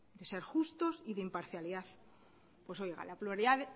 de ser justos y de imparcialidad pues oiga la pluralidad